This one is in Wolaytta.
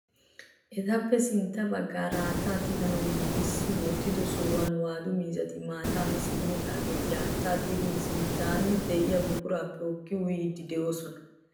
Etappe sintta baggaara haattaa tiganawu giigissi wottido sohuwan waadu miizzati maataa mi simmidaageta haattaa tigin sinttan de'iyaa buquraappe hookkidi uyiyiidi de'oosona.